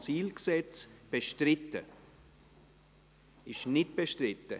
– Das Eintreten ist nicht bestritten.